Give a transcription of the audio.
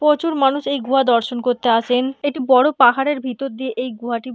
প্রচুর মানুষ এই গুহা দর্শন করতে আসেন একটি বড় পাহাড়ের ভিতর দিয়ে এই গুহাটি--